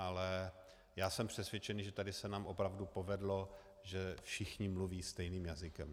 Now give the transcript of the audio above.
Ale já jsem přesvědčený, že tady se nám opravdu povedlo, že všichni mluví stejným jazykem.